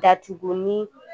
Datugu ni